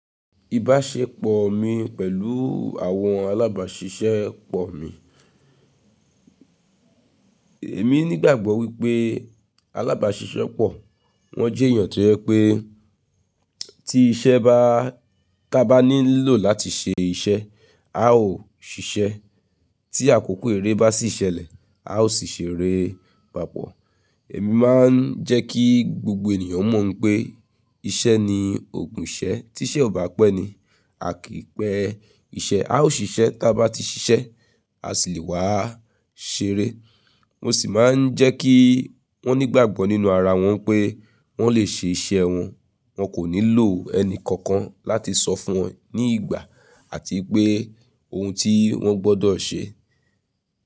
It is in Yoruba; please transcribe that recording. Ìbáṣepọ̀ mi pẹ̀lú àwọn alábàáṣiṣẹ́pọ̀ mi. Èmi ní ìgbàgbọ́ wípé alábàáṣiṣẹ́pọ̀ wọn jẹ́ èèyàn tó rẹ pé tí iṣẹ́ bá, tá bá nílò láti ṣe iṣẹ́ a óò ṣiṣẹ́. Tí àkókò èrè bá sì ṣẹlẹ̀ a ó sì ṣèrè papọ̀. Èmi máa ń jẹ́ kí gbogbo ènìyàn mọ̀ pé iṣẹ́ ni ògùn iṣẹ́, tí iṣẹ́ ò bá pẹ́ ni a kì í pẹ́ iṣẹ́, a ó ṣiṣẹ́ tí a bá ti ṣiṣẹ́ a sì lè wá ṣèrè. Mo sì máa ń jẹ́ kí wọ́n ní ìgbàgbọ́ nínú ara wọn pé wọ́n lè ṣe iṣẹ́ wọn, wọn kò nílò ẹni kankan láti sọ fún wọn ní ìgbà àti pé ohun tí wọ́n gbọ́dọ̀ ṣe.